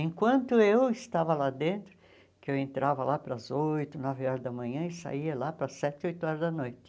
Enquanto eu estava lá dentro, que eu entrava lá para as oito, nove horas da manhã e saía lá para as sete, oito horas da noite.